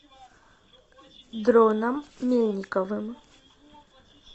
дроном мельниковым